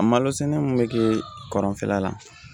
A malo sɛnɛ min bɛ kɛ kɔrɔnfɛla la